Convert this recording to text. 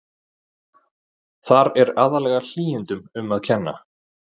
Þar er aðallega hlýindum um að kenna.